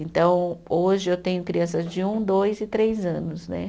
Então, hoje eu tenho crianças de um, dois e três anos, né?